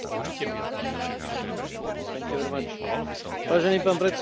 Vážený pán predseda, ani ja sa pani Rodrigues nepoďakujem za túto správu.